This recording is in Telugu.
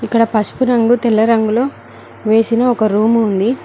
ఇక్కడ పసుపు రంగు తెల్ల రంగులో వేసిన ఒక రూము ఉంది.